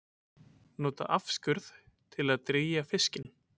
Nota afskurð til að drýgja fiskinn